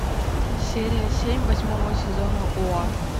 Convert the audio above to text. серия семь восьмого сезона оа